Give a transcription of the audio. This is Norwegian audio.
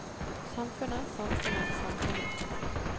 samfunnet samfunnet samfunnet